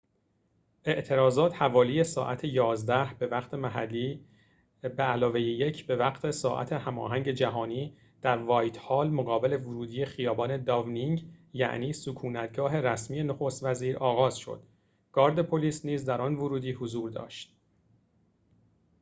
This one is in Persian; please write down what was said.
اعتراضات حوالی ساعت 11:00 به‌وقت محلی 1+ به‌وقت ساعت هماهنگ جهانی در «وایت‌هال»، مقابل ورودی خیابان «داونینگ»، یعنی سکونت‌گاه رسمی نخست‌وزیر، آغاز شد. گارد پلیس نیز در آن ورودی حضور داشت